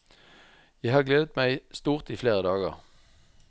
Jeg har gledet meg stort i flere dager.